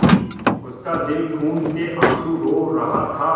उसका दिल खून केआँसू रो रहा था